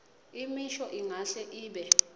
imisho ingahle ibe